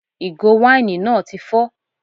Ìgò wáìnì náà tí fọ